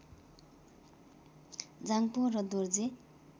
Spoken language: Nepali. जाङपो र दोर्जे